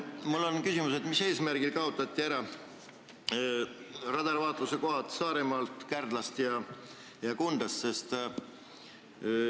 Mul on küsimus, mis eesmärgil kaotati ära radarvaatluse kohad Saaremaalt, Kärdlast ja Kundast.